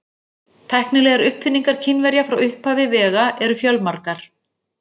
Tæknilegar uppfinningar Kínverja frá upphafi vega eru fjölmargar.